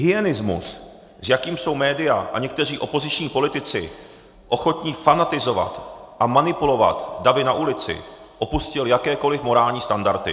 Hyenismus, s jakým jsou média a někteří opoziční politici ochotni fanatizovat a manipulovat davy na ulici, opustil jakékoliv morální standardy.